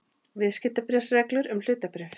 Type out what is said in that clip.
Viðskiptabréfsreglur um hlutabréf.